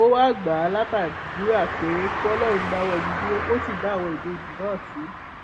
ó wáá gbà á látàdúrà pé kọlọrun dáwọ ibi dúró kó sì dá àwọn ìbejì náà sí